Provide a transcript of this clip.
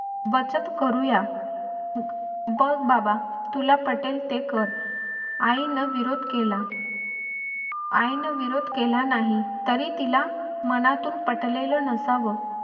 बचत करुया. बघ बाबा तुला पटेल ते कर. आईने विरोध केला. आईने विरोध केला नाही तरी तिला मनातून पटलेलं असं नसावं.